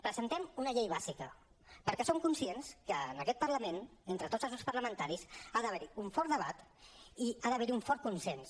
presentem una llei bàsica perquè som conscients que en aquest parlament entre tots els grups parlamentaris ha d’haver hi un fort debat i ha d’haver hi un fort consens